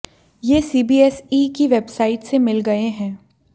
ये सीबीएसई की वेबसाइट से लिए गए हैं